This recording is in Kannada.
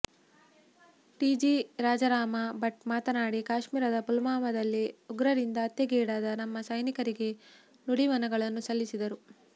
ಟಿ ಜಿ ರಾಜಾರಾಮ ಭಟ್ ಮಾತನಾಡಿ ಕಾಶ್ಮೀರದ ಪುಲ್ವಾಮ ದಲ್ಲಿ ಉಗ್ರರಿಂದ ಹತ್ಯೆಗೀಡಾದ ನಮ್ಮ ಸೈನಿಕರಿಗೆ ನುಡಿನಮನಗಳನ್ನು ಸಲ್ಲಿಸಿದರು